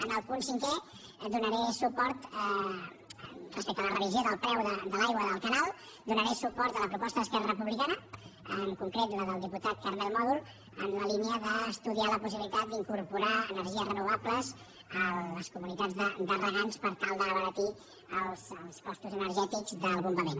en el punt cinquè donaré suport respecte a la revisió del preu de l’aigua del canal donaré suport a la proposta d’esquerra republicana en concret la del diputat carmel mòdol en la línia d’estudiar la possibilitat d’incorporar energies renovables a les comunitats de regants per tal d’abaratir els costos energètics del bombament